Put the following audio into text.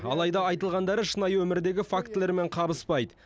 алайда айтылғандары шынайы өмірдегі фактілермен қабыспайды